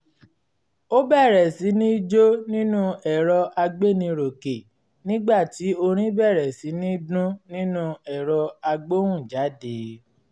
ó bẹ̀rẹ̀ sí ní jó nínú ẹ̀rọ agbéniròkè nígbà tí orin bẹ̀rẹ̀ sí ní dún nínú ẹ̀rọ agbóhùnjáde